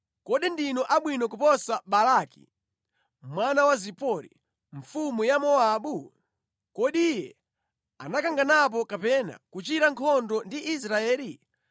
Kodi ndinu abwino kuposa Balaki mwana wa Zipori, mfumu ya Mowabu? Kodi iye anakanganapo kapena kuchita nkhondo ndi Israeli?